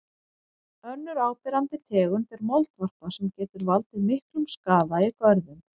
Önnur áberandi tegund er moldvarpa sem getur valdið miklum skaða í görðum.